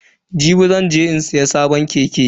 Jibi zan je in siya sabon keke.